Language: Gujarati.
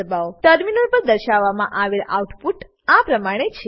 ટર્મિનલ પર દર્શાવવામાં આવેલ આઉટપુટ આ પ્રમાણે છે